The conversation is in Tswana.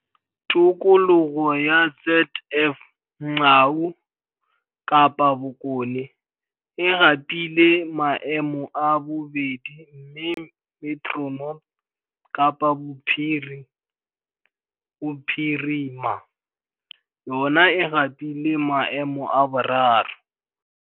Tikologo ya ZF Mgcawu, Kapa Bokone, e gapile maemo a bobedi mme Metro North, Kapa Bophi rima, yona e gapile maemo a boraro.